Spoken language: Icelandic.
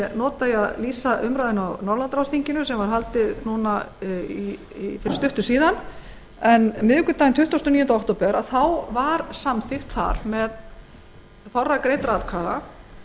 nota til að lýsa umræðunni á norðurlandaráðsþinginu sem var haldið nú fyrir skömmu miðvikudaginn tuttugasta og níunda október var samþykkt með þorra greiddra atkvæða